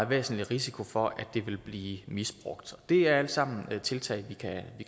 væsentlig risiko for at det vil blive misbrugt og det er alt sammen tiltag vi kan